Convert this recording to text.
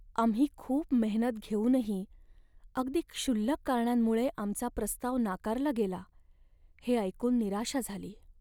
आम्ही खूप मेहनत घेऊनही अगदी क्षुल्लक कारणांमुळे आमचा प्रस्ताव नाकारला गेला हे ऐकून निराशा झाली.